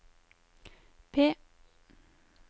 P